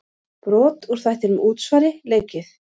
Brot úr þættinum Útsvari leikið.